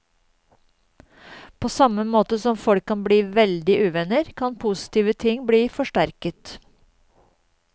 På samme måte som folk kan bli veldig uvenner, kan positive ting bli forsterket.